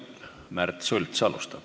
Märt Sults alustab.